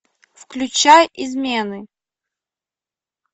включай измены